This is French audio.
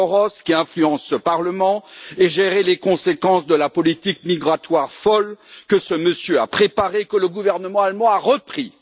Soros, qui influence ce Parlement, et gérer les conséquences de la politique migratoire folle que ce monsieur a préparée et que le gouvernement allemand a repris.